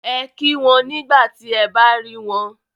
Ẹ kí wọn nígbà tí ẹ bá rí wọn